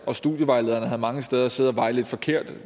og studievejlederne havde mange steder siddet og vejledt forkert